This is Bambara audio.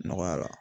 Nɔgɔya la